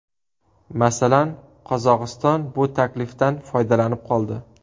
Masalan, Qozog‘iston bu taklifdan foydalanib qoldi.